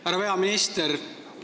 Härra peaminister!